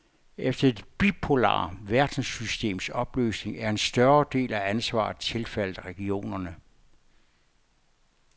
Efter det bipolare verdenssystems opløsning er en større del af ansvaret tilfaldet regionerne.